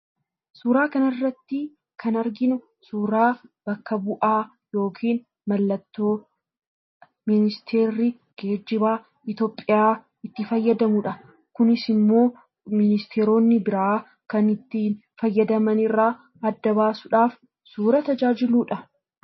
Suuraa kanarratti kan arginu suuraabakka bu'aa yookiin mallattoo ministeerri geejjibaa Itoophiyaa itti fayyadamudha. Kunis immoo ministeeronni biraa kan ittiin fayyadaman irraa adda baasuuf suuraa tajaajiludha.